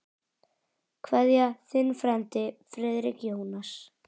Kveðja, þinn frændi Friðrik Jónas.